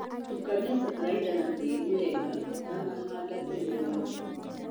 Tukania bataraitha na tïri wega ûtanahanda mbegû ya Njũgukaranga.